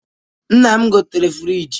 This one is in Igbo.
Nna m gotere frịji